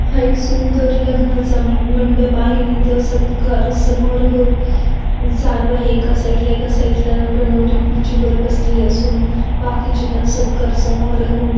हा एक सुंदर लग्नाचा मंडप आहे नी इथं सत्कार समारोह चालू आहे एका साईड ला एका साईड ला नवरा नवरी खुर्चीवर बसलेले असून बाकीचे पण सत्कार समोर--